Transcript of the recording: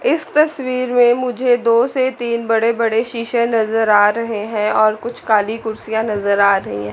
इस तस्वीर में मुझे दो से तीन बड़े बड़े शीशे नजर आ रहे हैं और कुछ काली कुर्सियां नजर आ रही है।